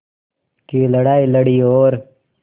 की लड़ाई लड़ी और